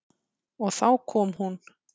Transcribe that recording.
Og þá kom hún.